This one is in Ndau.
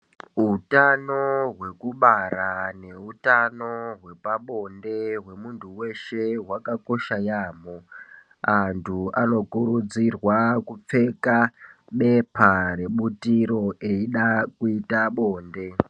Utano hwekubara neutano hwepabonde hwemuntu weshe hwakakosha yambo, antu anokurudzirwa kupfeka bepa rebutiro eyida kuyita bonde.